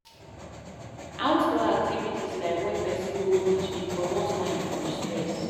Outdoor activities like when person go beach dey comot mind from stress